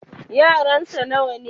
yaransa nawa ne?